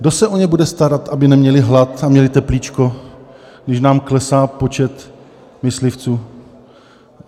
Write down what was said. Kdo se o ně bude starat, aby neměla hlad a měla teplíčko, když nám klesá počet myslivců?